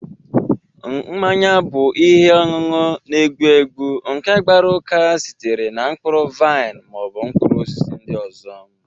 Mmanya bụ ihe ọṅụṅụ na-egbu egbu nke gbara uka sitere na mkpụrụ vaịn ma ọ bụ mkpụrụ osisi ndị ọzọ